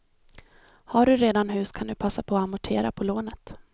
Har du redan hus kan du passa på att amortera på lånet.